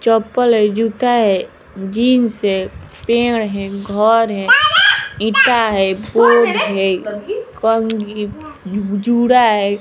चप्पल है जूता है जींस है पेड़ है घर है एटा है फुल है कंघी जुड़ा है।